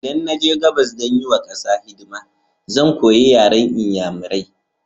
Idan na je gabas don yi wa ƙasa hidima, zan koya yaren Inyairai.